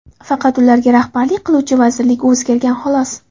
Faqat ularga rahbarlik qiluvchi vazirlik o‘zgargan, xolos.